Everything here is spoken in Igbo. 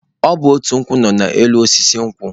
Ọ bụ ote nkwụ nọ n'elu osisi nkwụ.